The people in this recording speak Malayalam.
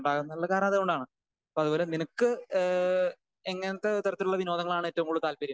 എന്നുള്ള കാരണം അത് കൊണ്ടാണല്ലോ അപ്പൊ അവര് നിനക്ക് ഏഹ് എങ്ങനത്തെ തരത്തിലുള്ള വിനോദങ്ങളാണ് ഏറ്റവും കൂടുതൽ താല്പര്യം?